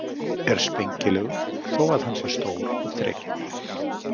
Er spengilegur þó að hann sé stór og þrekinn.